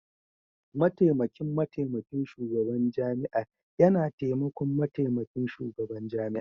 Mataimakin Mataimakin Shugaban Jami'ar yana taimakon Mataimakin Shugaban Jami'ar.